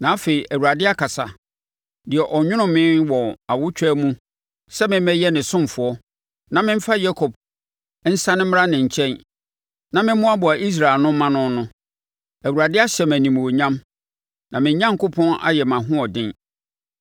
Na afei, Awurade akasa: deɛ ɔnwonoo me wɔ awotwaa mu sɛ memmɛyɛ ne ɔsomfoɔ na memfa Yakob nsane mmra ne nkyɛn na me mmoaboa Israel ano mma no no. Awurade ahyɛ me animuonyam na me Onyankopɔn ayɛ mʼahoɔden.